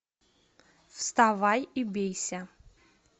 вставай и бейся